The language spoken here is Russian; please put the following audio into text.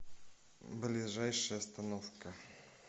ближайшая остановка